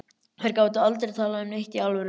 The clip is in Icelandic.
Þær gátu aldrei talað um neitt í alvöru.